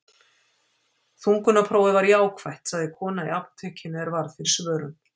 Þungunarprófið var jákvætt, sagði kona í apótekinu er varð fyrir svörum.